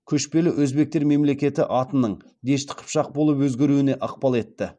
көшпелі өзбектер мемлекеті атының дешті қыпшақ болып өзгеруіне ықпал етті